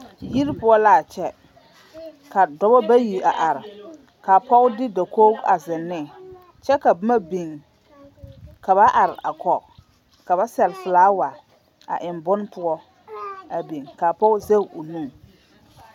Yiri poɔ l'a kyɛ k'a dɔbɔ bayi a are ka pɔge de dakogi a zeŋ ne kyɛ ka boma biŋ ka ba are a kɔge ka ba sɛle filaawa a eŋ bone poɔ a biŋ, k'a pɔge zɛge o nu.